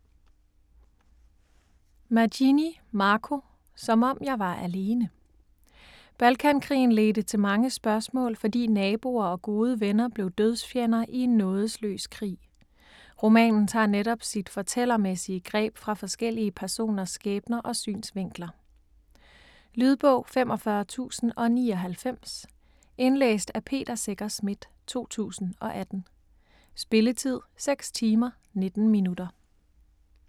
Magini, Marco: Som om jeg var alene Balkankrigen ledte til mange spørgsmål, fordi naboer og gode venner blev dødsfjender i en nådesløs krig. Romanen tager netop sit fortællermæssige greb fra forskellige personers skæbner og synsvinkler. Lydbog 45099 Indlæst af Peter Secher Schmidt, 2018. Spilletid: 6 timer, 19 minutter.